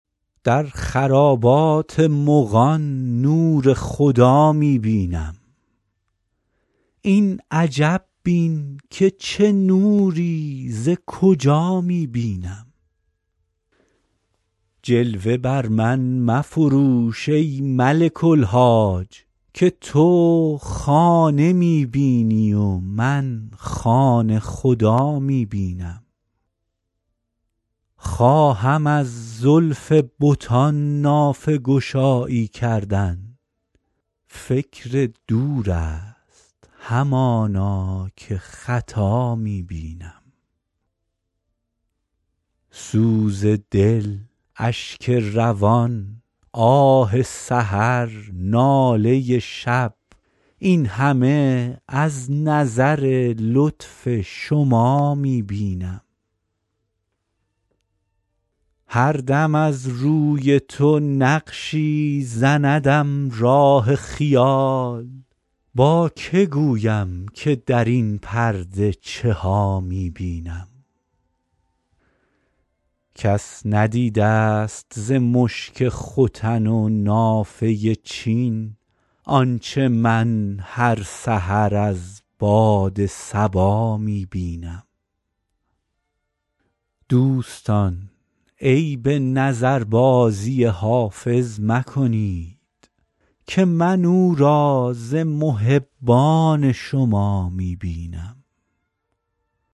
در خرابات مغان نور خدا می بینم این عجب بین که چه نوری ز کجا می بینم جلوه بر من مفروش ای ملک الحاج که تو خانه می بینی و من خانه خدا می بینم خواهم از زلف بتان نافه گشایی کردن فکر دور است همانا که خطا می بینم سوز دل اشک روان آه سحر ناله شب این همه از نظر لطف شما می بینم هر دم از روی تو نقشی زندم راه خیال با که گویم که در این پرده چه ها می بینم کس ندیده ست ز مشک ختن و نافه چین آنچه من هر سحر از باد صبا می بینم دوستان عیب نظربازی حافظ مکنید که من او را ز محبان شما می بینم